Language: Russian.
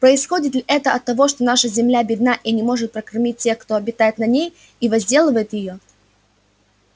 происходит ли это от того что наша земля бедна и не может прокормить тех кто обитает на ней и возделывает её